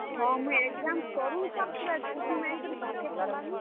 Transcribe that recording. ହଁ, ମୁଇଁ exam ସରୁନ୍ ସାର୍ ପୁରା ଛୁଟି ମାଗିକରି ପୁରା ଘର୍ କେ ପଲାମି।